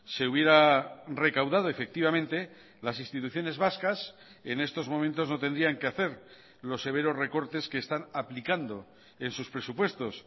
se hubiera recaudado efectivamente las instituciones vascas en estos momentos no tendrían que hacer los severos recortes que están aplicando en sus presupuestos